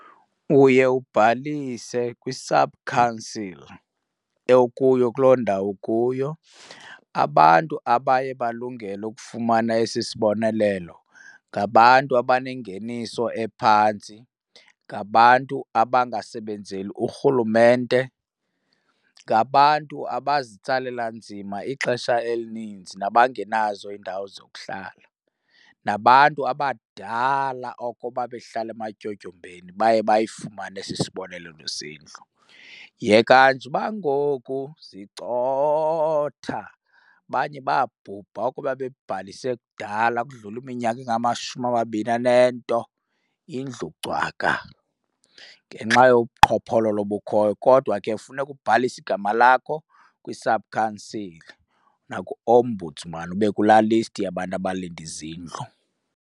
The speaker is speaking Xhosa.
Uye ubhalise kwi-subcouncil okuyo kuloo ndawo kuyo. Abantu abaye balungele ukufumana esi sibonelelo ngabantu abanengeniso ephantsi, ngabantu abangasebenzeli uRhulumente, ngabantu abazitsalela nzima ixesha elininzi nabangenazo iindawo zokuhlala, nabantu abadala oko babehlala ematyotyombeni baye bayifumane esi sibonelelo sendlu. Yekani nje uba ngoku zicotha abanye babhubha oko babebhalise kudala kudlule iminyaka engamashumi amabini anento indlu cwaka ngenxa yobu buqhophololo obukhoyo. Kodwa ke funeka ubhalise igama lakho kwi-subcouncil naku-ombudsman ube kulaa list yabantu abalinde izindlu.